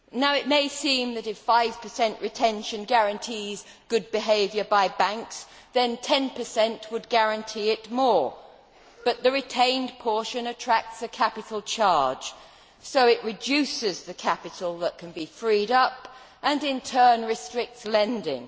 It may seem that, if 5 retention guarantees good behaviour by banks, then 10 would guarantee it more, but the retained portion attracts a capital charge so it reduces the capital that can be freed up and in turn restricts lending.